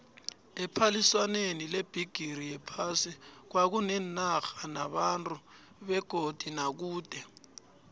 ephaliswaneni lebhigiri yephasi kwakuneenarha nabantu beduze nakude